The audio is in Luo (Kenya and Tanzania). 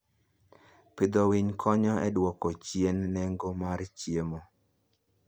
Pidho winy konyo e dwoko chien nengo mar chiemo.